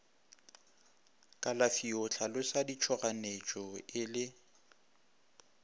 kalafio hlalosa ditšhoganyetšo e le